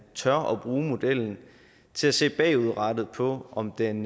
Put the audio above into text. tør at bruge modellen til at se bagudrettet på om den